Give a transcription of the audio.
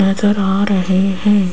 नजर आ रहे हैं।